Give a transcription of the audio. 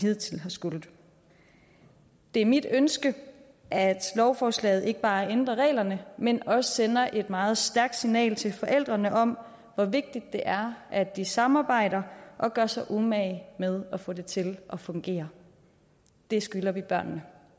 hidtil har skullet det er mit ønske at lovforslaget ikke bare ændrer reglerne men også sender et meget stærkt signal til forældrene om hvor vigtigt det er at de samarbejder og gør sig umage med at få det til at fungere det skylder vi børnene